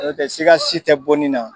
siga si tɛ bonni na.